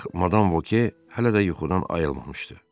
Ancaq madam Voke hələ də yuxudan ayılmamışdı.